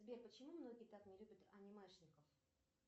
сбер почему многие так не любят анимешников